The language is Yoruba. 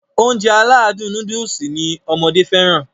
Ounjẹ aládùn nóódùsì lọmọdé fẹ́ràn